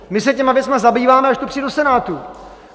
My se těmi věcmi zabýváme, až to přijde do Senátu.